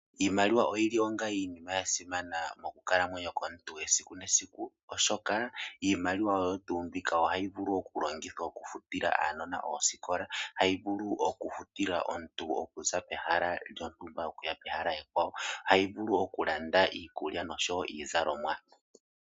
Iimaliwa oyi li onga iinima ya simana mokukalamwenyo kwomuntu, esiku nesiku , oshoka iimaliwa oyo tuu mbika oha yi vulu oku longithwa oku futila aanona oosikola, hayi vulu oku futila omuntu oku za pehala lyontumba, oku ya pehala ekwawo, hayi vulu oku landa iikulya nosho wo iizalomwa.